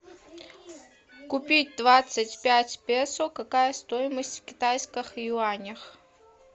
купить двадцать пять песо какая стоимость в китайских юанях